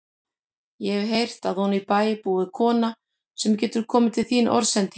Ég hef heyrt að oní bæ búi kona sem getur komið til þín orðsendingu.